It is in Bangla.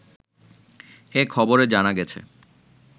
এ খবরে জানা গেছে